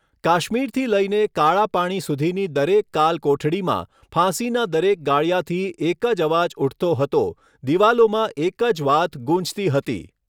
કાશ્મીરથી લઈને કાળા પાણી સુધીની દરેક કાલ કોઠડીમાં, ફાંસીના દરેક ગાળિયાથી એક જ અવાજ ઉઠતો હતો દિવાલોમાં એક જ વાત ગૂંજતી હતી.